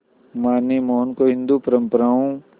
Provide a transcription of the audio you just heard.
मां ने मोहन को हिंदू परंपराओं